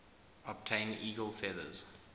obtain eagle feathers